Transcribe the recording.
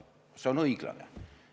See on õiglane.